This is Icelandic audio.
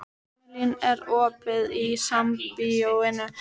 Irmelín, er opið í Sambíóunum?